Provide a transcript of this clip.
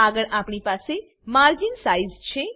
આગળ આપણી પાસે માર્જિન સાઈઝ છે